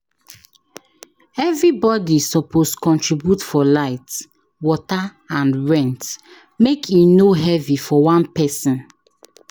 Everybody suppose contribute for light, water, and rent make e no heavy for one person.